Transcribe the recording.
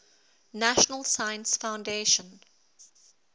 national science foundation